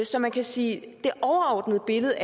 så man kan sige at det overordnede billede